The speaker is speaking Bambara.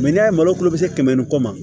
n'i y'a ye malo kɛmɛ ni kɔ ma